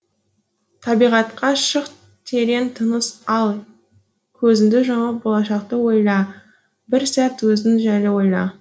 табиғатқа шық терең тыныс ал көзіңді жұмып болашақты ойла бір сәт өзің жайлы ойла